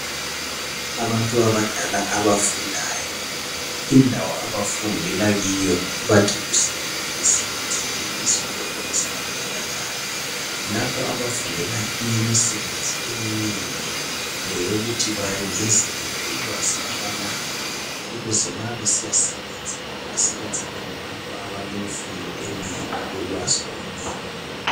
Abantu abadala abafundayo indawo abafundela kiyo bathi kuse yunivesithi isikolo esabantu abadala lapho abafundela imisebenzi eminengi leyokuthi bangezelele ulwazi abalalo ukuze ma besiyasebenza basebenza bengabantu abalemfundo enengi lolwazi olunengi.